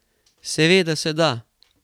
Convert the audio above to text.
Seveda se da.